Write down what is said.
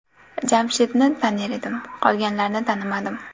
Jamshidni tanir edim, qolganlarni tanimadim.